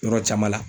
Yɔrɔ caman la